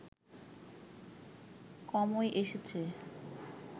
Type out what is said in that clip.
কমই এসেছে